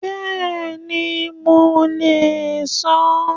Bẹ́ẹ̀ni, mo lè san án.